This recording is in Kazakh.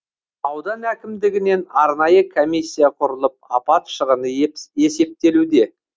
аудан әкімдігінен арнайы комиссия құрылып апат шығыны есептелуде